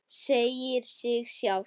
Segir sig sjálft.